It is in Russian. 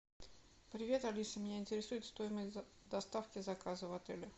привет алиса меня интересует стоимость доставки заказа в отеле